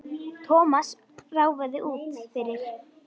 Thomas ráfaði út fyrir.